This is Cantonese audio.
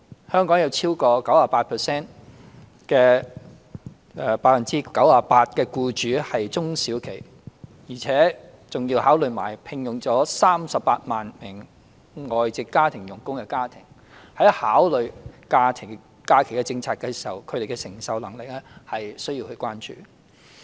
香港有超過 98% 的企業為中小型企業，還有聘用了超過38萬名外籍家庭傭工的家庭，在考慮假期政策時，他們的承受能力是需要關注的。